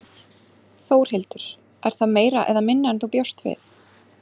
Þórhildur: Er það meira eða minna en þú bjóst við?